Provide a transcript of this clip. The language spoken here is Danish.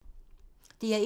DR1